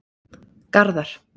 Garðar